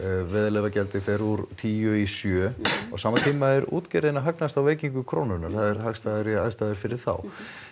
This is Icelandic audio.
veiðileyfagjaldið fer úr tíu í sjö á sama tíma er útgerðin að hagnast á veikingu krónunnar það eru hagstæðari aðstæður fyrir þá